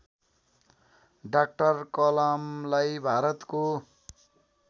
doctor कलामलाई भारतको